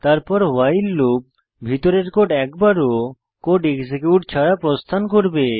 তারপর while loop ভিতরের code একবারও কোড এক্সিকিউট ছাড়া প্রস্থান করবে